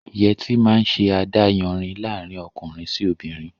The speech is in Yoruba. Yẹtí máa ń ṣe adáyanri laarin ọkùnrin sì obìnrin